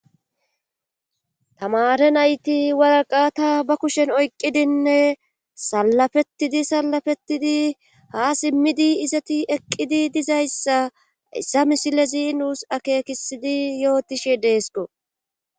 tamare nayti waraqata ba kushen oyqqidinne salafettidi salafettidi haa simmidi izati eqqidi dizayssa issa misilezi nuus akeekisidi yootishe deesko